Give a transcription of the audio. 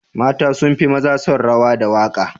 Mata sun fi maza son rawa da waka.